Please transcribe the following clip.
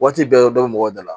Waati bɛɛ dɔ bɛ mɔgɔ dala